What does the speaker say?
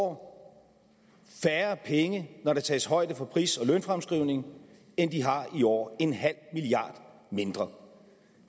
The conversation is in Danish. år færre penge når der tages højde for pris og lønfremskrivning end de har i år en halv milliard mindre